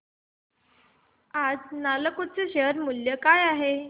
आज नालको चे शेअर मूल्य काय आहे